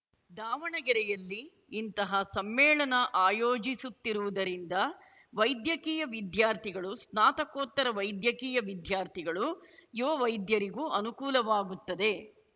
ದಾವಣಗೆರೆಯಲ್ಲಿ ಇಂತಹ ಸಮ್ಮೇಳನ ಆಯೋಜಿಸುತ್ತಿರುವುದರಿಂದ ವೈದ್ಯಕೀಯ ವಿದ್ಯಾರ್ಥಿಗಳು ಸ್ನಾತಕೋತ್ತರ ವೈದ್ಯಕೀಯ ವಿದ್ಯಾರ್ಥಿಗಳು ಯುವ ವೈದ್ಯರಿಗೂ ಅನುಕೂಲವಾಗುತ್ತದೆ